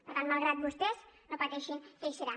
per tant malgrat vostès no pateixin que hi serà